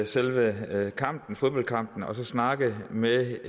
selve fodboldkampen at snakke med